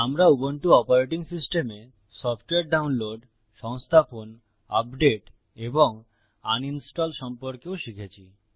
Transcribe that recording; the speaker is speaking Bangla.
আমরা উবুন্টু অপারেটিং সিস্টেমে সফ্টওয়্যার ডাউনলোড সংস্থাপন আপডেট এবং আনইনস্টল সম্পর্কেও শিখেছি